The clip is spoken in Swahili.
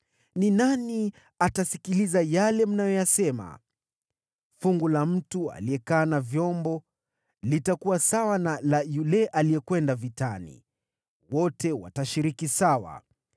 Ni nani atasikiliza yale mnayosema? Fungu la mtu aliyekaa na vyombo litakuwa sawa na la yule aliyekwenda vitani. Wote watashiriki sawa.”